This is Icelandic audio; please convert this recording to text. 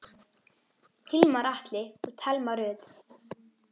Hilmar Atli og Thelma Rut.